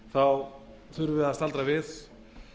þurfum við að staldra við